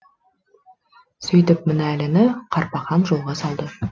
сөйтіп мінәліні карпахан жолға салды